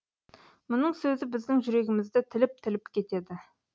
мұның сөзі біздің жүрегімізді тіліп тіліп кетеді